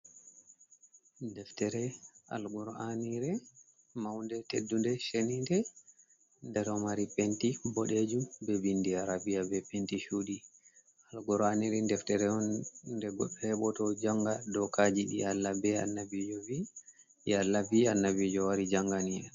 Deftere Alkur'anure maunde teddu nde shenide. Nde ɗo mari penti boɗejum be vindi Arabiya be penti chudi. Alkur'anire deftere on nde heɓoto janga dokaji ɗi Allah be Annabijo vi'i. Allah vi' I Annabijo wari jangina en.